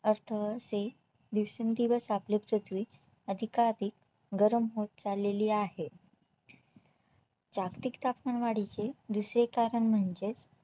असं अशे दिवसेंदिवस आपले पृथ्वी अधिकाधिक गरम होत चाललेली आहे जागतिक तापमानवाढीचे दुसरे कारण म्हणजेच